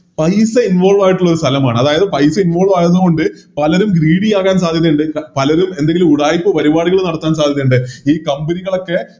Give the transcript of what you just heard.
പൈസ Involve ആയിട്ടുള്ള സ്ഥലമാണ് അതായത് പൈസ Involve ആകുന്നത് കൊണ്ട് പലരും Greedy ആകാൻ സാധ്യതയിണ്ട് പലരും എന്തെങ്കിലും ഉടായിപ്പ് പരിപാടികള് നടത്താൻ സാധ്യതയിണ്ട് ഈ Company കളൊക്കെ